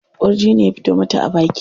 Ƙurji ne ya fito mata a baki.